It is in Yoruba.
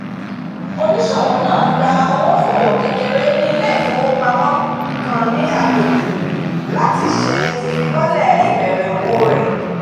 oníṣòwò náà gba owó fún òwò kékeré ní ilé ifowópamọ́ kan ni agbègbè láti ṣe ifilọlẹ ìbẹ̀rẹ̀ òwò rẹ̀